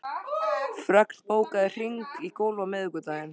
Fregn, bókaðu hring í golf á miðvikudaginn.